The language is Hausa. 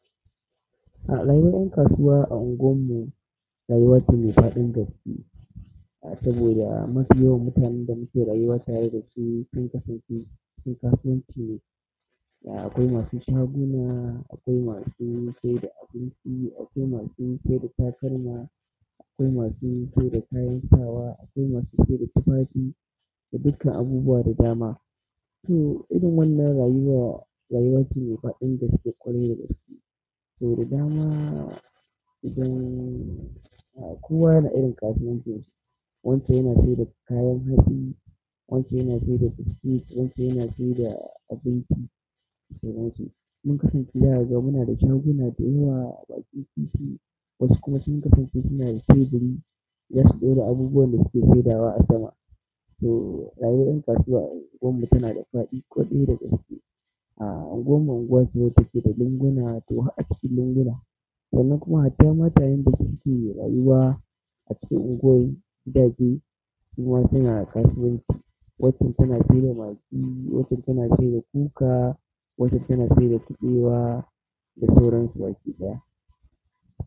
A rayuwar ƴan kasuwa a unguwar mu, rayuwa ce mai daɗin gaske saboda mafi yawan mutanen da muke rayuwa tare da su sun kasance kasuwanci. Akwai masu shaguna, akwai masu saida abinci, akwai masu saida takalma, akwai masu saida kayan sawa, akwai masu saida tufafi da dukkan abubuwan da dama. To irin wannan rayuwa rayuwa ce mai daɗin gaske ƙwarai da gaske. To da dama idan kowa yana da irin kasuwancin shi, wancan yana saida kayan hatsi, wancan yana saida biscuit, wancan yana saida abinci da sauran su. Mun kasance zaka ga muna da shaguna da yawa a bakin ti ti, wasu kuma sun kasance suna da teburi, zasu ɗora abubuwan da suke saidawa a sama. To rayuwar ƴan kasuwa a unguwar mu tana da faɗi ƙwarai da gaske. A unguwar mu unguwa ce da take da lunguna, to a cikin lunguna. Wannan kuma hatta-matayen da suke rayuwa. A cikin unguwar gidaje su ma suna kasuwanci. Waccan tana saida maggi, waccan tana saida kuka, waccan tana saida kuɓewa da sauran su baki ɗaya.